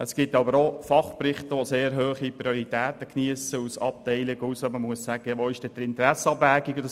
Es gibt aber auch Fachberichte aus Abteilungen, die eine sehr hohe Priorität geniessen, bei welchen man die Frage nach der Interessenabwägung stellen muss.